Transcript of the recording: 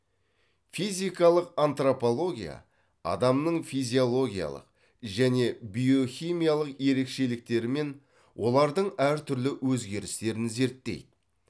физикалық антрополгия адамның физиологиялық және биохимиялық ерекшеліктерімен олардың әртүрлі өзгерістерін зерттейді